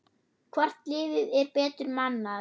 Hvort liðið er betur mannað?